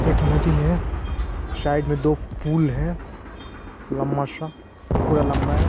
एक नदी है साइड में दो पूल है लंबा-सा पूरा लंबा है।